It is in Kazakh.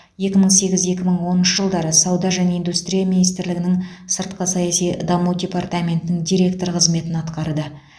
екі мың сегіз екі мың оныншы жылдары сауда және индустрия министрлігінің сыртқы саяси даму департаментінің директоры қызметін атқарды